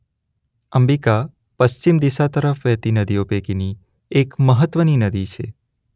અંબિકા પશ્ચિમ દિશા તરફ વહેતી નદીઓ પૈકીની એક મહત્‍વની નદી છે.